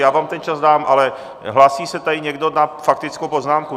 Já vám ten čas dám, ale hlásí se tady někdo na faktickou poznámku.